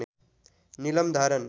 नीलम धारण